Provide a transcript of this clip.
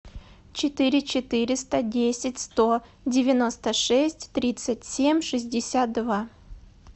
четыре четыреста десять сто девяносто шесть тридцать семь шестьдесят два